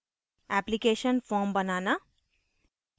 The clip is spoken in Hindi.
application form banana